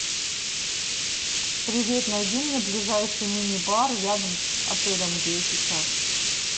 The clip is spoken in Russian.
привет найти мне ближайший мини бар рядом с отелем где я сейчас